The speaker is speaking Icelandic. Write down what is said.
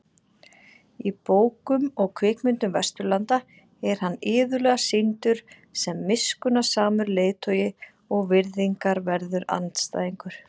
Í bókum og kvikmyndum Vesturlanda er hann iðulega sýndur sem miskunnsamur leiðtogi og virðingarverður andstæðingur.